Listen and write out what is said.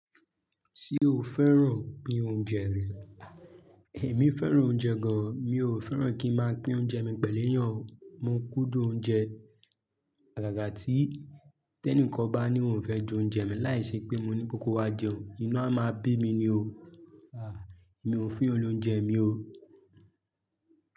Ṣé o fẹ́ràn pín oúnjẹ rẹ? Ẹ̀mí fẹ́ràn oúnjẹ gan, mi ò fẹ́ràn kí n máa pín oúnjẹ mi pẹ̀lú èèyàn. Mo kúndùn oúnjẹ, àgàgà tí tẹ́níǹkan bá ní òun ò fẹ́ jẹ oúnjẹ mi láì ṣe pé mo ní pe kó wá jẹun, inu á máa bí mi ni o. À, mi ò n fún èèyàn ní oúnjẹ mi o.